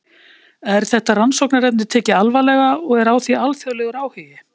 Er þetta rannsóknarefni tekið alvarlega og er á því alþjóðlegur áhugi?